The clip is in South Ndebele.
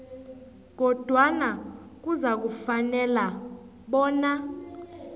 kodwana kuzakufanela bona